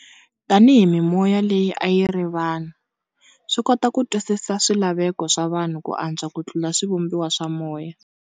Tani hi mimoya leyi ayiri vanhu, swikota ku twisisa swi laveko swa vanhu ku antswa ku tlula swivumbiwa swa moya.